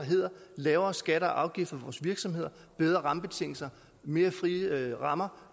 lavere skatter og afgifter for vores virksomheder bedre rammebetingelser mere frie rammer